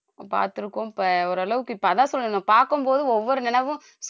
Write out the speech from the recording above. பாத்திருக்கோம் இப்ப ஓரளவுக்கு இப்ப அதான் சொல்றேன் நான் பாக்கும்போது ஒவ்வொரு நினைவும்